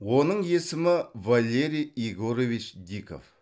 оның есімі валерий егорович диков